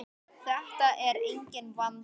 Þetta er enginn vandi!